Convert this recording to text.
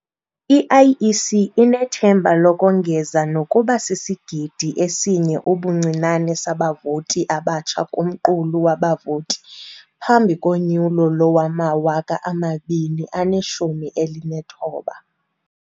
I-IEC inethemba lokongeza nokuba sisigidi esinye ubuncinane sabavoti abatsha kumqulu wabavoti phambi konyulo lowama-2019.